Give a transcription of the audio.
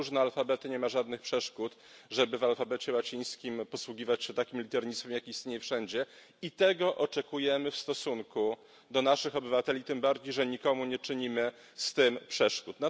Mamy różne alfabety, nie ma żadnych przeszkód, żeby w alfabecie łacińskim posługiwać się takim liternictwem, jakie istnieje wszędzie i tego oczekujemy w stosunku do naszych obywateli, tym bardziej że nikomu nie czynimy z tym przeszkód.